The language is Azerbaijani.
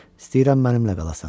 İstəyirəm mənimlə qalasan.